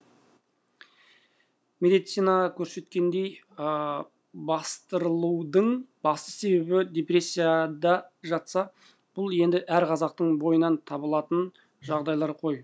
медицина көрсеткендей бастырылудың басты себебі депрессияда жатса бұл енді әр қазақтың бойынан табылатын жағдайлар ғой